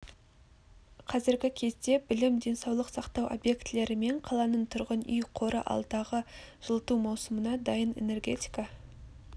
қазіргі кезде білім денсаулық сақтау объектілері мен қаланың тұрғын үй қоры алдағы жылыту маусымына дайын энергетика